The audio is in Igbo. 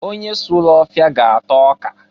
Onye sulu ọfịa ga-ata ọka.